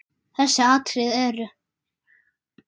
Þessi atriði eru